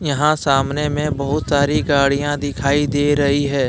यहां सामने में बहुत सारी गाड़ियां दिखाई दे रही है।